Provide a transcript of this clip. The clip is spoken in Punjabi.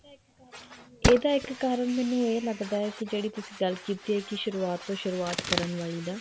ਇਹਦਾ ਇੱਕ ਕਾਰਨ ਮੈਨੂੰ ਇਹ ਲੱਗਦਾ ਕੇ ਜਿਹੜੀ ਤੁਸੀਂ ਗੱਲ ਕੀਤੀ ਹੈ ਕੀ ਸ਼ੁਰੁਆਤ ਤੋਂ ਸ਼ੁਰੁਆਤ ਕਰਨ ਵਾਲੀ ਦਾ